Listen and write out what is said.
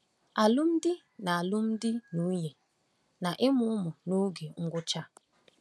Alụmdi na Alụmdi na Nwunye na Ịmụ Ụmụ n’Oge Ngwụcha a.